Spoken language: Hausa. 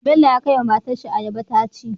Bello ya kai wa matar shi ayaba taci